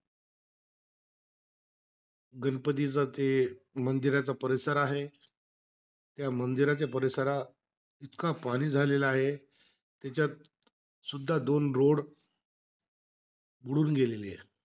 गणपतीचा जे मंदिराचा परिसर आहे. त्या मंदिराच्या परिसरात, इतका पाणी झालेला आहे. त्याच्यात सुद्धा दोन road बुडून गेलेले आहे.